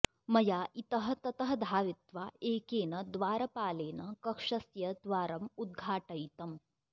मया इतः ततः धावित्वा एकेन द्वारपालेन कक्षस्य द्वारम् उद्घाटयितम्